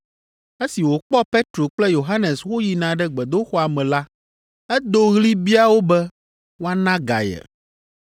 Esi wòkpɔ Petro kple Yohanes woyina ɖe gbedoxɔa me la, edo ɣli bia wo be woana ga ye.